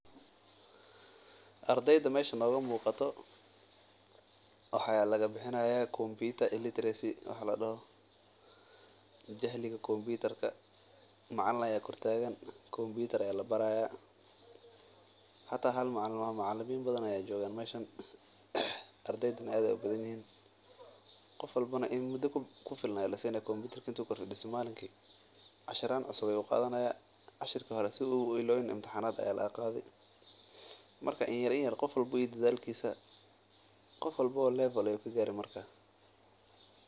ardeyda meesha noogamuuqato waxaa lagabixinaya computer illitracy waxa ladoho, jahliga computer ka macalin ayaa kortaagan computer ayaa labaraa hata hal macalin maahan macalimiin badhan ayaa joogan meshan ardeyda neh aad ey ubadhanyihin, qof walbo neh in mudo kufilan ayaa lasiinaya computerka intu korfadiisto malinki cashiraan cusub ayuu qadhanaya cashirka hore sidhuu uilaabin imtixanaad ayaa lagaqadhi marka inyarinyar qof walbo iy dadhalkisa qofwalbo level ayuu kagari marka.